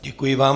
Děkuji vám.